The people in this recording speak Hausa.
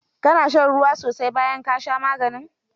Ka na shan ruwa sosai bayan ka sha maganin?